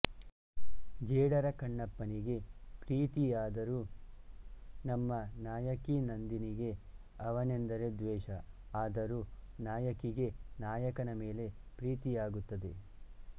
ಜೇಡರ ಕಣ್ಣಪ್ಪನಿಗೆ ಪ್ರೀತಿಯಾದರು ನಮ್ಮ ನಾಯಕಿ ನಂದಿನಿಗೆ ಅವನೆಂದರೆ ದ್ವೇಷ ಆದರೂ ನಾಯಕಿಗೆ ನಾಯಕನ ಮೇಲೆ ಪ್ರೀತಿಯಾಗುತ್ತದೆ